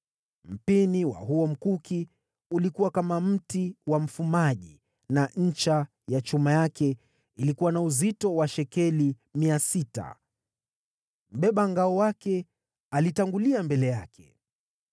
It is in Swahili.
Mpini wa huo mkuki ulikuwa kama mti wa mfumaji, na ncha ya chuma yake ilikuwa na uzito wa shekeli mia sita. Mbeba ngao wake alitangulia mbele yake.